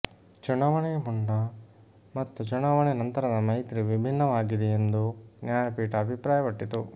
ಚುನಾವಣೆ ಮುನ್ನ ಮತ್ತು ಚುನಾವಣೆ ನಂತರದ ಮೈತ್ರಿ ವಿಭಿನ್ನವಾಗಿದೆ ಎಂದೂ ನ್ಯಾಯ ಪೀಠ ಅಭಿಪ್ರಾಯ ಪಟ್ಟಿತು